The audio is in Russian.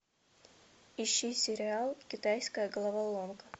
ищи сериал китайская головоломка